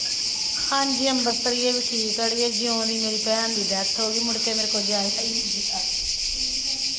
ਹਾਂਜੀ ਅੰਬਰਸਰੀਏ ਵੀ ਠੀਕ ਆ ਅੜੀਏ ਜਿਉਂ ਦੀ ਮੇਰੀ ਭੈਣ ਦੀ death ਹੋ ਗਈ ਮੁੜਕੇ ਮੇਰੇ ਕੋਲ ਜਾਇਆ ਹੀ ਨਹੀਂ ਗਿਆ।